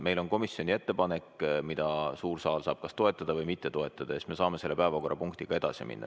Meil on komisjoni ettepanek, mida suur saal saab kas toetada või mitte toetada, ja siis me saame päevakorraga edasi minna.